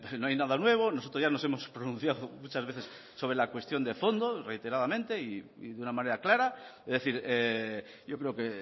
no hay nada nuevo nosotros ya nos hemos pronunciado muchas veces sobre la cuestión de fondo reiteradamente y de una manera clara es decir yo creo que